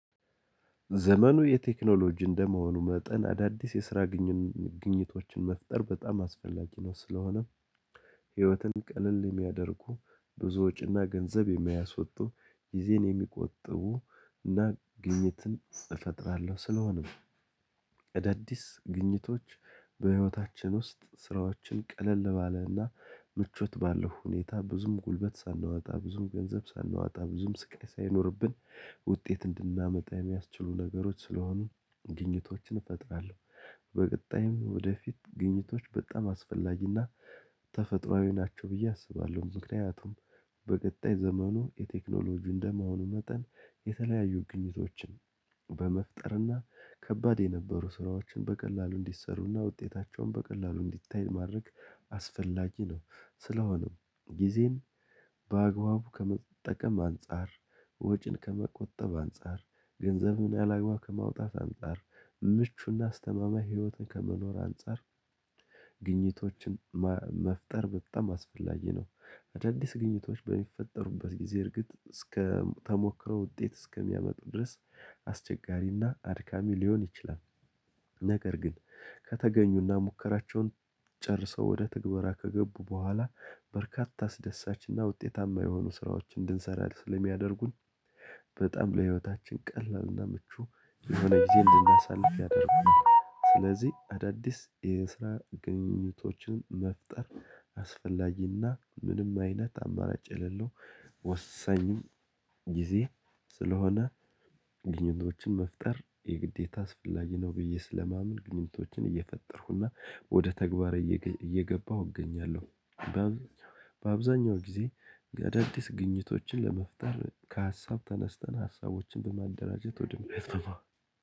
ዘመኑ የቴክኖሎጂ እንደመሆኑ መጠን አዳዲስ የስራ ግኝቶችን መፍጠር በጣም አስፈላጊ ነው። ስለሆነ ህይወትን ቀለል የሚያደርጉ፣ ብዙ ወጪና ገንዘብ የሚያስወጡ፣ ጊዜን የሚቆጥቡ እና ግኝትን እፈጥራለሁ። ስለሆነ እዳዲስ ግኝቶች በህይወታችን ውስጥ ስራዎችን ቀለል ባለና ምቾት ባለው ሁኔታ ብዙም ጉልበት ሳናወጣ፣ ብዙም ገንዘብ ሳናወጣ፣ ብዙም ስቃይ ሳይኖርብን ውጤት እንድናመጣ የሚያስችሉ ነገሮች ስለሆኑ ግኝቶችን እፈጥራለሁ። በቀጣይም ወደፊት ግኝቶች በጣም አስፈላጊና ተፈጥሮአዊ ናቸው ብዬ አስባለሁ። ምክንያቱም በቀጣይ ዘመኑ የቴክኖሎጂ እንደመሆኑ መጠን የተለያዩ ግኝቶችን በመፍጠርና ከባድ የነበሩ ስራዎችን በቀላሉ እንዲሰሩና ውጤታቸውን በቀላሉ እንዲታይል ማድረግ አስፈላጊ ነው። ስለሆነም ጊዜን በአግባቡ ከመጠቀም አንፃር፣ ወጪን ከመቆጠብ አንፃር፣ ገንዘብን ያላግባ ከማውጣት አንፃር፣ ምቹና አስተማማኝ ህይወትን ከመኖር አንፃር፣ ግኝቶችን መፍጠር በጣም አስፈላጊ ነው። አዳዲስ ግኝቶች በሚፈጠሩበት ጊዜ እርግጥ እስከ ተሞክረው ውጤት እስከሚያመጡ ድረስ አስቸጋሪና አድካሚ ሊሆን ይችላል። ነገር ግን ከተገኙና ሙከራቸውን ጨርሰው ወደ ተግባራ ከገቡ በኋላ በርካታ አስደሳችና ውጤታማ የሆኑ ስራዎችን እንድንሰራ ስለሚያደርጉን በጣም ለህይወታችን ቀላልና ምቹ የሆነ ጊዜ እንድናሳልፍ ያደርጉናል። ስለዚህ አዳዲስ የስራ ግኝቶችን መፍጠር አስፈላጊና ምንም አይነት አማራጭ የሌለው ወሰኝም ጊዜ ስለሆነ ግኝቶችን መፍጠር የግዴታ አስፈላጊ ነው ብዬ ስለማመን፤ ግኝቶችን እየፈጠርኩና ወደ ተግባር እየገባሁ እገኛለሁ። በአብዛኛው ጊዜ አዳዲስ ግኝቶችን ለመፍጠር ከሀሳብ ተነስተን፣ ሀሳቦችን በማደራጀት ወደ እሱ በማ